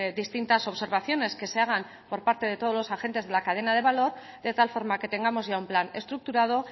distintas observaciones que se hagan por parte de todos los agentes de la cadena de valor de tal forma que tengamos ya un plan estructurado